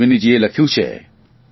અશ્વિનીજીએ લખ્યું છે